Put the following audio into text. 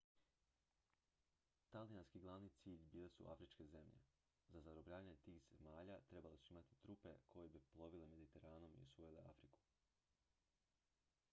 talijanski glavni cilj bile su afričke zemlje za zarobljavanje tih zemalja trebali su imati trupe koje bi plovile mediteranom i osvojile afriku